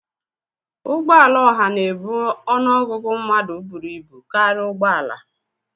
Ụgbọ ala oha na-ebu ọnụ ọgụgụ mmadụ buru ibu karịa ụgbọ ala